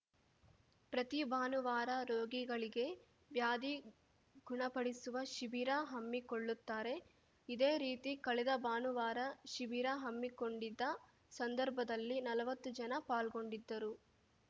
ಪ್ರತಿ ಭಾನುವಾರ ರೋಗಿಗಳಿಗೆ ವ್ಯಾಧಿ ಗುಣಪಡಿಸುವ ಶಿಬಿರ ಹಮ್ಮಿಕೊಳ್ಳುತ್ತಾರೆ ಇದೇ ರೀತಿ ಕಳೆದ ಭಾನುವಾರ ಶಿಬಿರ ಹಮ್ಮಿಕೊಂಡಿದ್ದ ಸಂದರ್ಭದಲ್ಲಿ ನಲ್ವತ್ತು ಜನ ಪಾಲ್ಗೊಂಡಿದ್ದರು